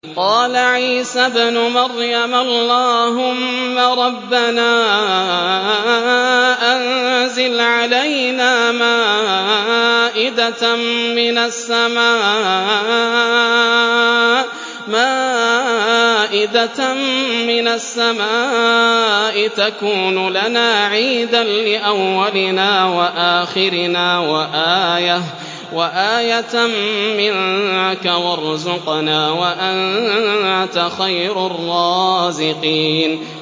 قَالَ عِيسَى ابْنُ مَرْيَمَ اللَّهُمَّ رَبَّنَا أَنزِلْ عَلَيْنَا مَائِدَةً مِّنَ السَّمَاءِ تَكُونُ لَنَا عِيدًا لِّأَوَّلِنَا وَآخِرِنَا وَآيَةً مِّنكَ ۖ وَارْزُقْنَا وَأَنتَ خَيْرُ الرَّازِقِينَ